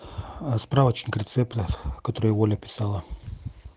справочник рецептов который оля писала